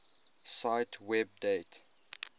cite web date